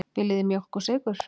Viljið þið mjólk og sykur?